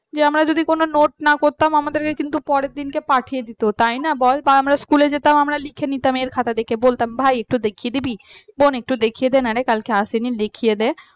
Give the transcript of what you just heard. যে আমরা যদি কোন note না করতাম আমাদেরকে কিন্তু পরের দিনকে পাঠিয়ে দিত তাই না বল বা আমরা school যেতাম লিখে নিতাম এর খাতা থেকে বলতাম ভাই একটু দেখিয়ে দিবি বোন একটু দেখিয়ে দে না রে কালকে আসেনি লিখিয়ে দে